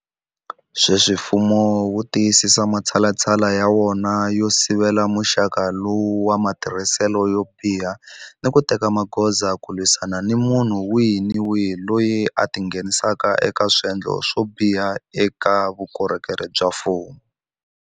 Sweswi mfumo wu tiyisisa matshalatshala ya wona yo sivela muxaka lowu wa matirhiselo yo biha ni ku teka magoza ku lwisana ni munhu wihi ni wihi loyi a tingheni saka eka swendlo swo biha eka vukorhokeri bya mfumo.